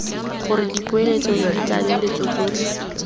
gore dipoeletso le ditlaleletso tsotlhe